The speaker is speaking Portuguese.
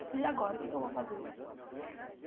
Eu falei, e agora, o que é que eu vou fazer?